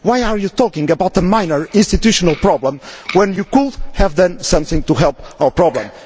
why are you talking about a minor institutional problem when you could have done something to help our problem?'